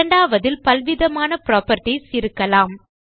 இரண்டாவதில் பல்விதமான புராப்பர்ட்டீஸ் இருக்கலாம்